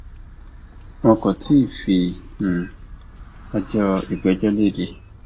wọn kò tí ì fi um ọjọ ìgbẹjọ lédè